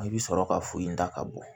I bɛ sɔrɔ ka furu in da ka bɔ